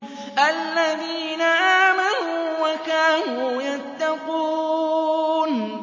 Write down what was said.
الَّذِينَ آمَنُوا وَكَانُوا يَتَّقُونَ